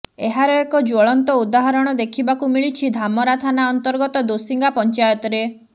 ଏହାର ଏକ ଜ୍ୱଳନ୍ତ ଉଦାହରଣ ଦେଖିବାକୁ ମିଳିଛି ଧାମରା ଥାନା ଅର୍ନ୍ତଗତ ଦୋସିଙ୍ଗା ପଂଚାୟତରେ